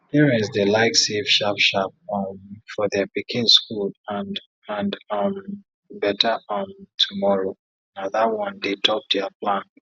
parents dey like save sharp sharp um for their pikin school and and um better um tomorrow na that one dey top their plan